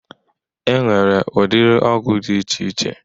E nwere udiri ọgwụ dị iche iche